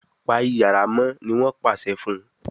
Pa iyàrá mọ !ní wón pàṣẹ fún